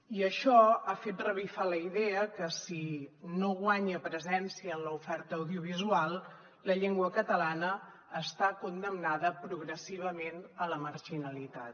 i això ha fet revifar la idea que si no guanya presència en l’oferta audiovisual la llengua catalana està condemnada progressivament a la marginalitat